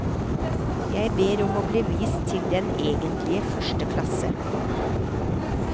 Jeg ber om å bli vist til den egentlige første klasse.